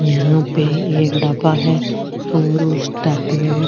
यहाँ पे एक ढाबा है और उस ढाबे --